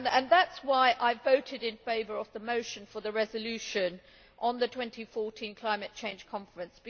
That is why I voted in favour of the motion for the resolution on the 2014 Climate Change Conference.